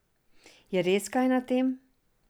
Je res kaj na tem?